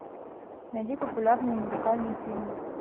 найди популярные музыкальные фильмы